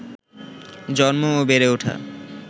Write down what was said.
জন্ম ও বেড়ে ওঠা